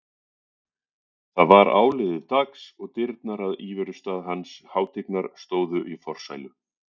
Það var áliðið dags og dyrnar að íverustað hans hátignar stóðu í forsælu.